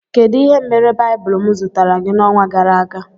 Kedụ ihe mere baibulu m zụtara gị na ọnwa gara aga?